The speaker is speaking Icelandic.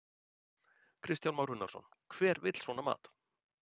Kristján Már Unnarsson: Hver vill svona mat?